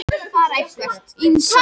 Ísmar, hvaða mánaðardagur er í dag?